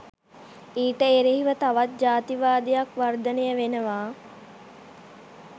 ඊට එරෙහිව තවත් ජාතිවාදයක් වර්ධනය වෙනවා